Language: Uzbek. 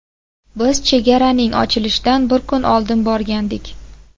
Biz chegaraning ochilishidan bir kun oldin borgandik.